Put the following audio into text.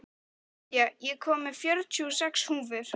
Nadia, ég kom með fjörutíu og sex húfur!